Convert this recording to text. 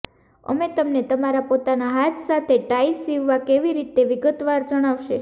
અમે તમને તમારા પોતાના હાથ સાથે ટાઇ સીવવા કેવી રીતે વિગતવાર જણાવશે